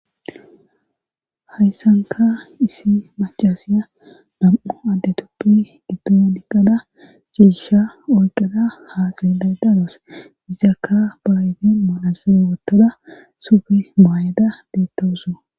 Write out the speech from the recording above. hayssanka issi macasiya nam7u adde tuppe giddo niqqada ciisha oyqada haxeela dadoos izakka baayten maalasere wottoda sufe maayeda beettawus